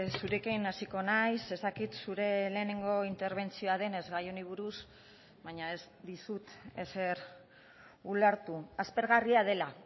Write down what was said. zurekin hasiko naiz ez dakit zure lehenengo interbentzioa denez gai honi buruz baina ez dizut ezer ulertu aspergarria dela